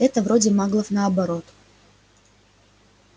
это вроде маглов наоборот